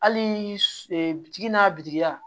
Hali bitigi n'a biri a